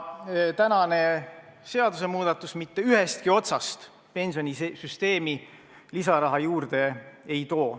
Tänane seadusemuudatus mitte ühestki otsast pensionisüsteemi lisaraha juurde ei too.